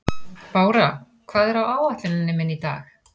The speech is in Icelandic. Bára, hvað er á áætluninni minni í dag?